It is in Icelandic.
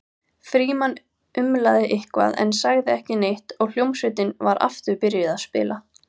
Frímann umlaði eitthvað en sagði ekki neitt og hljómsveitin var aftur byrjuð að spila.